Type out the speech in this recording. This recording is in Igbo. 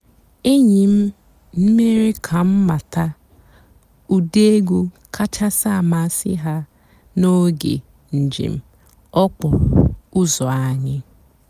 ényí m mèéré kà m màtàà ụ́dị́ ègwú kàchàsị́ àmásị́ há n'óge ǹjéém òkpòró ụ́zọ́ ànyị́.